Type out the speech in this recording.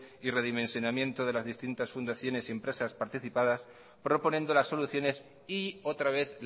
y redimensionamiento de las distintas fundaciones y empresas participas proponiendo las soluciones y otra vez